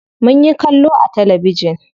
Munyi kallo a talabijin.